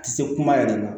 A tɛ se kuma yɛrɛ la